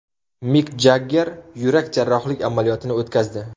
Mik Jagger yurak jarrohlik amaliyotini o‘tkazdi.